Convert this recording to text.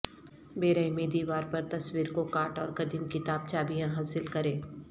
بیرہمی دیوار پر تصویر کو کاٹ اور قدیم کتاب چابیاں حاصل کریں